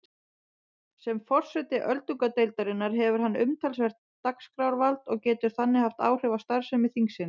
Sem forseti öldungadeildarinnar hefur hann umtalsvert dagskrárvald og getur þannig haft áhrif á starfsemi þingsins.